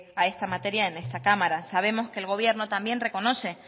a esta materia en esta cámara sabemos que el gobierno también reconoce